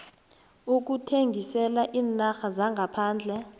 ukuthengisela iinarha zangaphandle